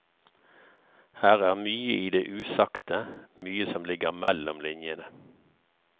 Her er mye i det usagte, mye som ligger mellom linjene.